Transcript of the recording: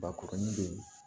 Bakuruni be yen